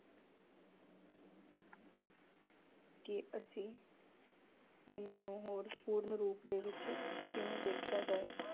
ਕਿ ਅਸੀਂ ਇਹਨਾਂ ਨੂੰ ਹੋਰ ਪੂਰਨ ਰੂਪ ਵਿੱਚ ਕਿਵੇਂ ਦੇਖਿਆ ਜਾਏ।